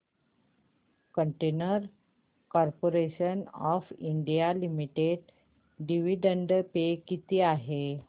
container Corporation of India Limited dividend pay किती आहे